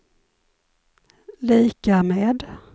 lika med